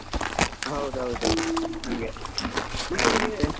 ಹೌದೌದು , ಹಂಗೆ .